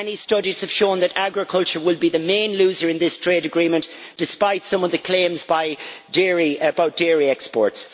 Many studies have shown that agriculture will be the main loser in this trade agreement despite some of the claims about dairy exports.